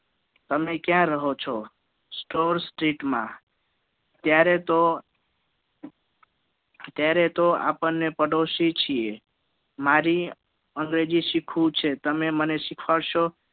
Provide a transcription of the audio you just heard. તમે ક્યાં રહો છો Stroal street માં તયારે તો ત્યારે તો આપણને પાડોસી છીએ મારી અંગ્રેજી સીખવું છે તમે મને શીખવાડસો